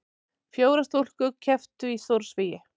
Fjórar stúlkur kepptu í stórsvigi